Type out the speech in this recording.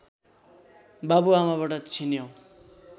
बाबु आमाबाट छिन्यौ